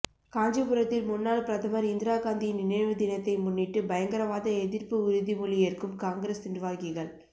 காஞ்சிபுரத்தில் முன்னாள் பிரதமா் இந்திரா காந்தியின் நினைவு தினத்தை முன்னிட்டு பயங்கரவாத எதிா்ப்பு உறுதிமொழி ஏற்கும் காங்கிரஸ் நிா்வாகிகள்